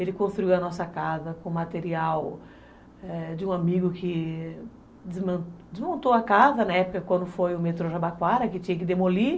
Ele construiu a nossa casa com material, é, de um amigo que desmontou a casa, né, na época, quando foi o metrô Jabaquara, que tinha que demolir.